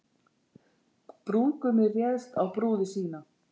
Brúðgumi réðst á brúði sína